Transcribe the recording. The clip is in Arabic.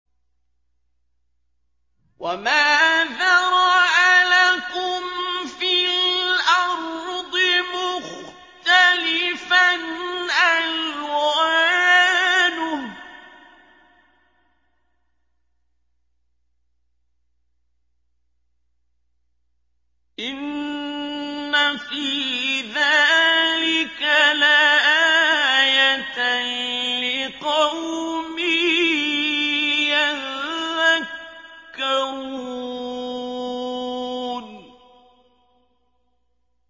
وَمَا ذَرَأَ لَكُمْ فِي الْأَرْضِ مُخْتَلِفًا أَلْوَانُهُ ۗ إِنَّ فِي ذَٰلِكَ لَآيَةً لِّقَوْمٍ يَذَّكَّرُونَ